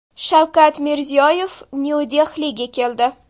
Shavkat Mirziyoyev Nyu-Dehliga keldi.